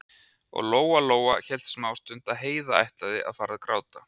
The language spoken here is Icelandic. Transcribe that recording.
Og Lóa-Lóa hélt smástund að Heiða ætlaði að fara að gráta.